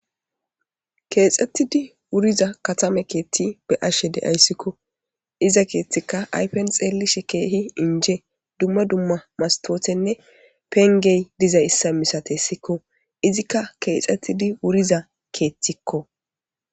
Keexxettidi wuriza katame keethti be ashe deayssikko iza keethtika aypen xeellishe keehi inje dumma dumma mastootenne pengey diza issa misatessikko izikka keexxettidi wuriza keethtikko.